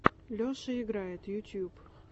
леша играет ютьюб